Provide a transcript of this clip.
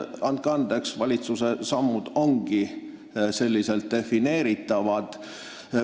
Andke andeks, valitsuse sammud ongi selliselt defineeritavad.